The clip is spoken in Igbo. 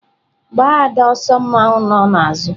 Gbaa ada ọsọ mmawu nọ n'azụ!.